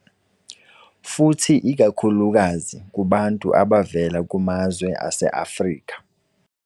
Futhi ikakhulukazi kubantu abavela kumazwe aseAfrika.